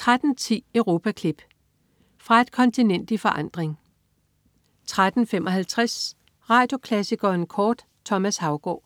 13.10 Europaklip. Fra et kontinent i forandring 13.55 Radioklassikeren kort. Thomas Haugaard